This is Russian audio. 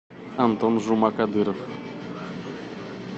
антон жумакадыров